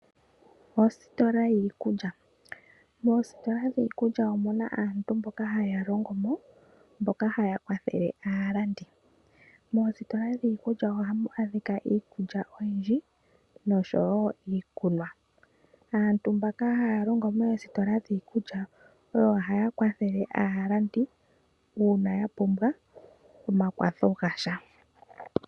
Ositola yiikulya. Moosikola dhiikulya omuna aantu mboka haya longo mo , mboka haya kwathele aalandi. Moositola dhiikulya ohamu adhika iikulya oyindji noshowoo iikunwa . Aantu mboka haya longo moositola dhiikulya oyo haya kwathele aalandi uuna yapumbwa omakwatho gasha.